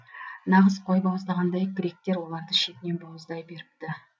нағыз қой бауыздағандай гректер оларды шетінен бауыздай беріпті